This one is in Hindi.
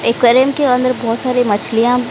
एक्वेरियम के अंदर बहोत सारी मछलियां--